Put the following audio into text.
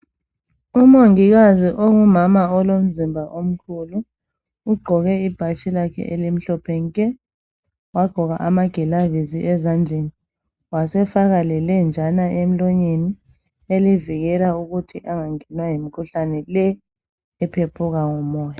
Umongikazi ongumama olomzimba omkhulu ugqoke ibhatshi lakhe elimhlophe nke wagqoka amagilavisi ezandleni wasefaka lelenjana emlonyeni elivikela ukuthi angangenwa yimkhuhlane le ephephuka ngomoya.